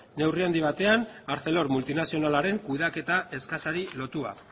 neurri handi batean arcelor multinazionalaren kudeaketa eskasari lotua